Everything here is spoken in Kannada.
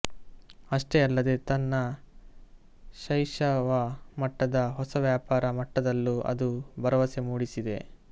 ಅಷ್ಟೇ ಅಲ್ಲದೇ ತನ್ನ ಶೈಶವ ಮಟ್ಟದ ಹೊಸ ವ್ಯಾಪಾರ ಮಟ್ಟದಲ್ಲೂ ಅದು ಭರವಸೆ ಮೂಡಿಸಿದೆ